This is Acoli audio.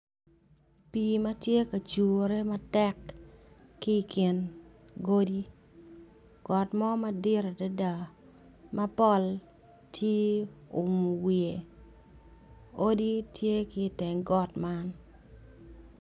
Pi matye ka cure matek ki kin godi got mo madit adada mapol tye oumo wiye odi tye ki teng got man.